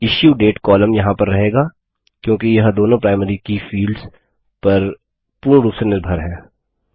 issue date column यहाँ पर रहेगा क्योंकि यह दोनों प्राइमरी की फील्ड्स पर पूर्ण रूप से निर्भर है